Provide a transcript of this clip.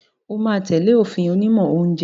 O máa tẹ̀lé òfin onímọ̀ oúnjẹ